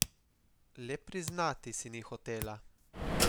Le priznati si ni hotela.